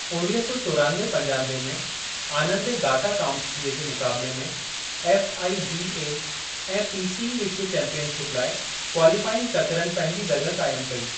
उणिवीह सौ चोरानवे-पंजानवे में, आनंद ऐं गाटा काम्स्कीअ जे मुकाबिले में एफआईडीऐ ऐं पीसीई विश्व चैंपियनशिप लाइ क्वालीफाइंग चकरनि पंहिंजी जॻह काइम कई।